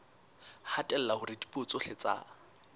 hatella hore dipuo tsohle tsa